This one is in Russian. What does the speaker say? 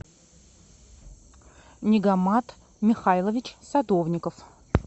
нигамат михайлович садовников